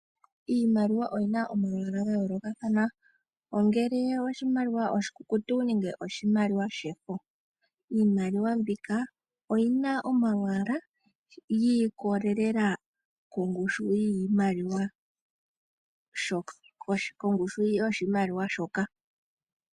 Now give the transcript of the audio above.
Iimaliwa oyina omalwaala ga yoolokathana ongele oshimaliwa oshikukutu nengeoshimaliwa shefo . Iimaliwa mbika oyina omalwaala gi ikolelela Kongushu yoshimaliwa shoka.